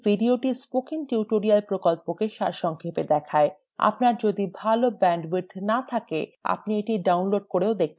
এই video spoken tutorial প্রকল্পকে সারসংক্ষেপে দেখায় আপনার যদি ভাল ব্যান্ডউইথ না থাকে আপনি এটি download করেও দেখতে পারেন